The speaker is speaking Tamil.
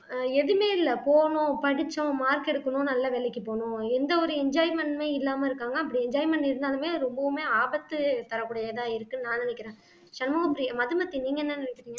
ஆஹ் எதுவுமே இல்லை போனோம் படிச்சோம் mark எடுக்கணும் நல்ல வேலைக்கு போனோம் எந்த ஒரு enjoyment ஏ இல்லாமல் இருக்காங்க அப்படி enjoyment இருந்தாலுமே ரொம்பவுமே ஆபத்து தரக்கூடியதா இருக்குன்னு நான் நினைக்கிறேன் சண்முகப்ரியா மதுமதி நீங்க என்ன நினைக்கிறீங்க